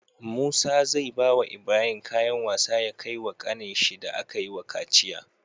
Musa zai bawa Ibrahim kayan wasa ya kai wa kanin shi da akayi wa kaciya